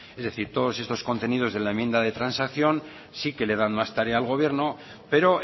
es decir todos estos contenidos de la enmienda de transacción sí que le dan más tarea al gobierno pero